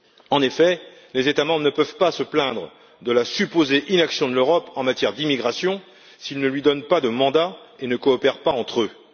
En effet, les États membres ne peuvent pas se plaindre de la supposée inaction de l'Europe en matière d'immigration s'ils ne lui donnent pas de mandat et ne coopèrent pas entre eux.